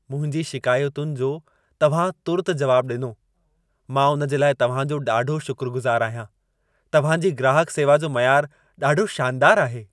मुंहिंजी शिकायतुनि जो तव्हां तुर्त जवाब ॾिनो। मां उन जे लाइ तव्हां जो ॾाढो शुकुरगुज़ार आहियां। तव्हां जी ग्राहक सेवा जो मयार ॾाढो शानदार आहे।